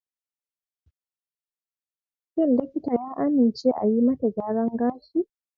Shin likita ya amince a yi mata gyaran gashi?